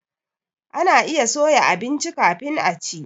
Ana iya soya abinci kafin a ci.